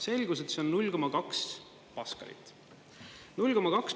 Selgus, et see on 0,2 paskalit.